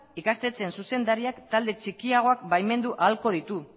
ikastetxean zuzendariak talde txikiagoak baimendu ahalko ditu